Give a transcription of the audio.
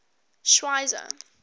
schweizer